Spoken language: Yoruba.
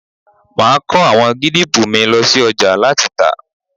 Máa kọ àwọn gírápù mi ló sí ọjà láti tà..